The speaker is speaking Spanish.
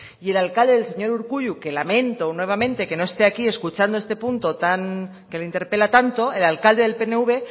y el alcalde del señor urkullu que lamento nuevamente que no esté aquí escuchando este punto que le interpela tanto el alcalde del pnv